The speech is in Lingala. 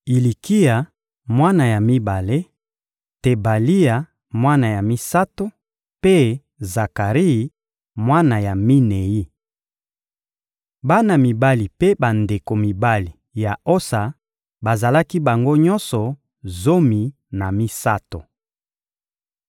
Ilikia, mwana ya mibale; Tebalia, mwana ya misato; mpe Zakari, mwana ya minei. Bana mibali mpe bandeko mibali ya Osa bazalaki bango nyonso zomi na misato.